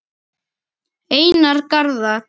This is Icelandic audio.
Einar Garðar.